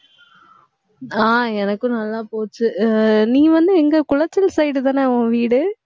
ஆஹ் எனக்கும் நல்லா போச்சு ஆஹ் நீ வந்து எங்க குளச்சல் side தானே உன் வீடு